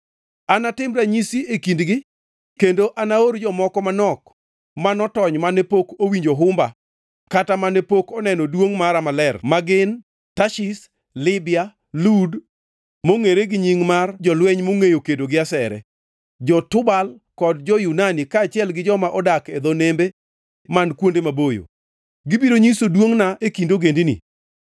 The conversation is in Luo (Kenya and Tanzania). “Anatim ranyisi e kindgi kendo anaor jomoko manok ma notony mane pok owinjo humba kata mane pok oneno duongʼ mara maler ma gin: Tarshish, Libya, Lud (mongʼere gi nying mar jolweny mongʼeyo kedo gi asere), jo-Tubal kod jo-Yunani kaachiel gi joma odak e dho nembe man kuonde maboyo. Gibiro nyiso duongʼna e kind ogendini.